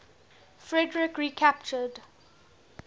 frederik recaptured